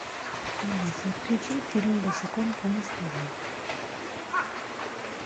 алиса включи фильм босиком по мостовой